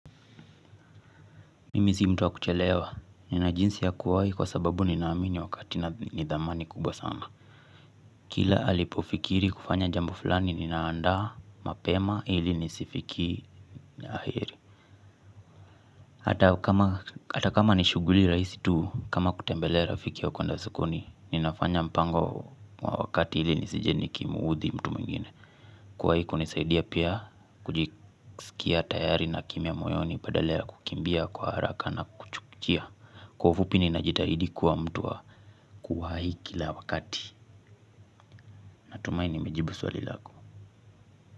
Mimi si mtu wa kuchelewa nina jinsi ya kuwahi kwa sababu ninaamini wakati ni dhamani kubwa sana kila alipofikiri kufanya jambo fulani ninaanda mapema ili nisifiki ya heri hata kama ni shughuli rahisi tu kama kutembelea rafiki au kueanda sokoni ninafanya mpango wa wakati ili nisije nikimuudhi mtu mwingine kuwahi kunisaidia pia kujisikia tayari na kimya moyoni badala ya kukimbia kwa haraka nakuchuia kwa ufupi ninajitahidi kuwa mtu wa kuwahi kila wakati. Natumahi nimejibu swali lako.